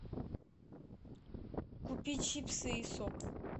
купи чипсы и сок